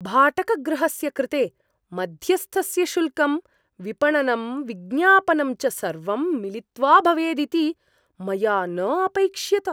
भाटकगृहस्य कृते मध्यस्थस्य शुल्कं विपणनं विज्ञापनं च सर्वं मिलित्वा भवेदिति मया न अपैक्ष्यत।